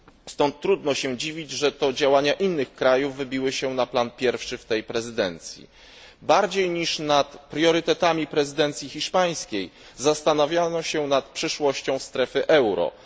Stąd trudno się dziwić, że to działania innych krajów wybiły się na pierwszy plan w tej prezydencji. Bardziej niż nad priorytetami prezydencji hiszpańskiej zastanawiano się nad przyszłością strefy euro.